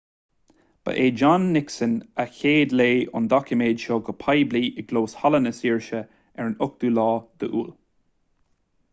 ba é john nixon a chéadléigh an doiciméad seo go poiblí i gclós halla na saoirse ar an 8 iúil